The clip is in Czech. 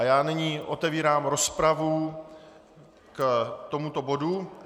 A já nyní otevírám rozpravu k tomuto bodu.